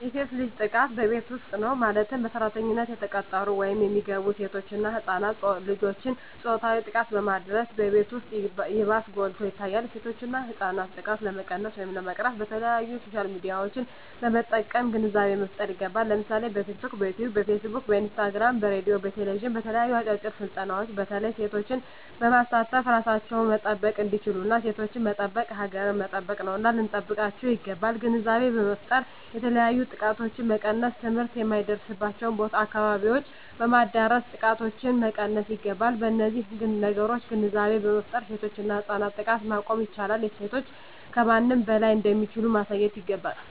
የሴት ልጅ ጥቃት በቤት ዉስጥ ነዉ ማለትም በሰራተኛነት የተቀጠሩ ወይም የሚገቡሴቶች እና ህፃናት ልጆችን ፆታዊ ጥቃትን በማድረስ በቤት ዉስጥ ይባስ ጎልቶ ይታያል የሴቶችና የህፃናት ጥቃት ለመቀነስ ወይም ለመቅረፍ በተለያዩ በሶሻል ሚድያዎችን በመጠቀም ግንዛቤ መፍጠር ይገባል ለምሳሌ በቲክቶክ በዮትዮብ በፊስ ቡክ በኢንስታግራም በሬድዮ በቴሌብዥን በተለያዩ አጫጭር ስልጠናዎች በተለይ ሴቶችን በማሳተፍ እራሳቸዉን መጠበቅ እንዲችሉና ሴቶችን መጠበቅ ሀገርን መጠበቅ ነዉና ልንጠብቃቸዉ ይገባል ግንዛቤ በመፍጠር የተለያዮ ጥቃቶችን መቀነስ ትምህርት የማይደርሱበትን አካባቢዎች በማዳረስ ጥቃቶችን መቀነስ ይገባል በነዚህ ነገሮች ግንዛቤ በመፍጠር የሴቶችና የህፃናትን ጥቃት ማስቆም ይቻላል ሴቶች ከማንም በላይ እንደሚችሉ ማሳየት ይገባል